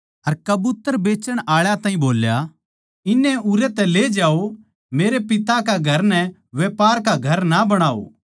अर कबूतर बेचण आळा ताहीं बोल्या इन्हनै उरै तै ले जाओ मेरै पिता कै घर नै व्यापर का घर ना बणाओ